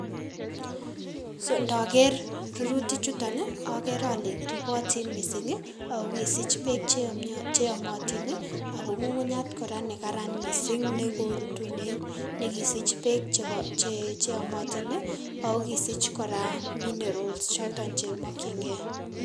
So ndoker rurutik chuton ii okere ole ripotin missing' ii ako kisich beek cheyomio cheyomotin missing' ako ng'ung'unyat kora nekaran missing' nekorutunen nekisich beek che cheomotin ako kisich kora minerals choton chemokyingei.